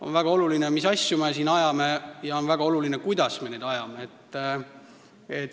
On väga oluline, mis asju me siin ajame, ja on väga oluline, kuidas me neid ajame.